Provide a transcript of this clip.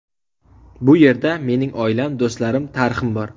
Bu yerda mening oilam, do‘stlarim, tarixim bor.